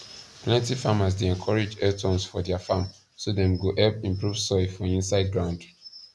plenty farmers dey encourage earthworms for their farm so dem go help improve soil for inside ground